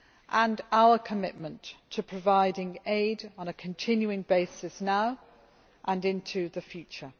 and our commitment to providing aid on a continuing basis now and into the future.